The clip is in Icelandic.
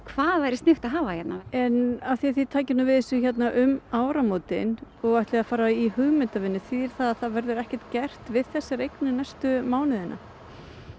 hvað væri sniðugt að hafa hérna en af því að þið takið við þessu um áramótin og ætlið að fara í hugmyndavinnu þýðir það að það verður ekkert gert við þessa eign næstu mánuðina